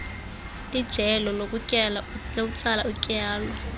lijelo lokutsala utyalo